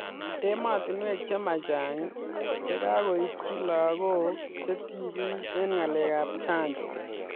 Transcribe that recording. Ematinweek che ma chang che kakoitchii lagook che tibiik eng ngalek ab chanjo